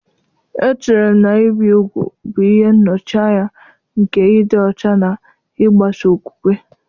Echere m na ibi úgwù bụ ihe nnọchianya nke ịdị ọcha na ịgbaso okwukwe.